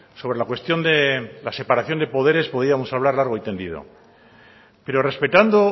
sobre la cuestión de la separación de poderes podríamos hablar largo y tendido pero respetando